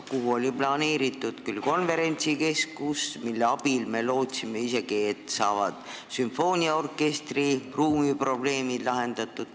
Sinna oli planeeritud konverentsikeskus, aga me lootsime isegi seda, et nii saavad sümfooniaorkestri ruumiprobleemid lahendatud.